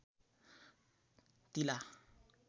तिला